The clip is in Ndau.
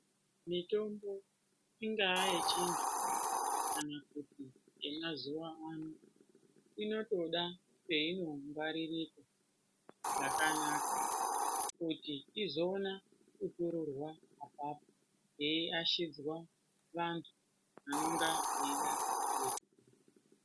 Mitombo, ingaa yechiyungu kana kuti yemazuwaano, inotoda peinongwaririrwa zvakanaka kuti izoona kutorerwa apapo yeiashidzwa vantu vanonga veida kui....